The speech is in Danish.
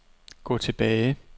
gå tilbage